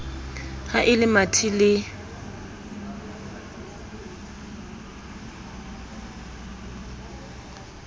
ha e le mathe le